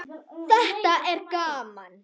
Þetta er gaman.